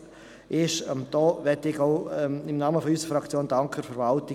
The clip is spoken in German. Dafür möchte ich der Verwaltung auch im Namen unserer Fraktion danken.